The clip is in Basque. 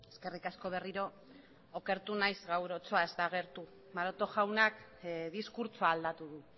eskerrik asko berriro okertu naiz gaur otsoa ez da agertu maroto jaunak diskurtsoa aldatu du